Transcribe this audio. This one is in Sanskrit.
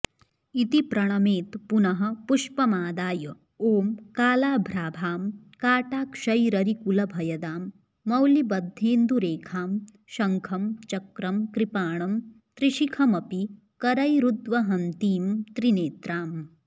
इति प्रणमेत् पुनः पुष्पमादय ॐ कालाभ्राभां काटाक्षैररिकुलभयदां मौलिबद्धेन्दुरेखां शंखं चक्रं कृपाणं त्रिशिखमपि करैरुद्वहन्तीं त्रिनेत्रां